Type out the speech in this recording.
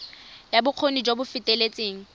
ya bokgoni jo bo feteletseng